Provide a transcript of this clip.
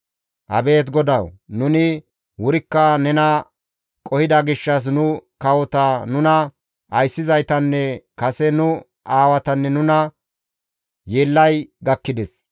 Abeet GODAWU! Nuni wurikka nena qohida gishshas nu kawota, nuna ayssizaytanne kase nu aawatanne nuna yeellay gakkides.